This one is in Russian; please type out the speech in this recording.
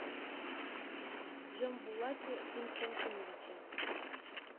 джамбулате константиновиче